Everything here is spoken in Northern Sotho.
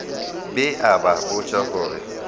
be a ba botša gore